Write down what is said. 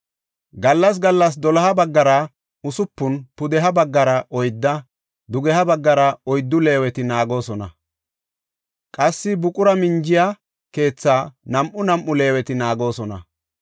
Gallas gallas doloha baggara usupun, pudeha baggara oydda, dugeha baggara oyddu Leeweti naagoosona. Qassi buqura minjiya keethaa nam7u nam7u Leeweti naagoosona.